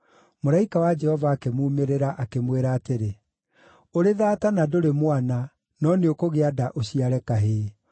Mũraika wa Jehova akĩmuumĩrĩra, akĩmwĩra atĩrĩ, “Ũrĩ thaata na ndũrĩ mwana, no nĩũkũgĩa nda ũciare kahĩĩ.